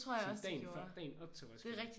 Sådan dagen før dagen op til Roskilde